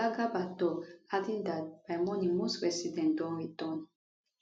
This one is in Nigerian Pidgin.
oga garba tok adding dat by morning most residents don return